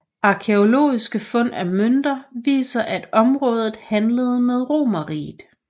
Arkæologiske fund af mønter viser at området handlede med Romerriget